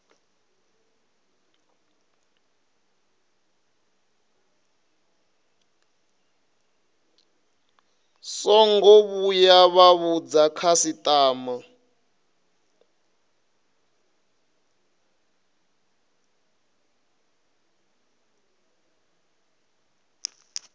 songo vhuya vha vhudza khasitama